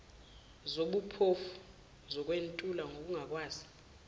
zobuphofu zokwentula nokungakwazi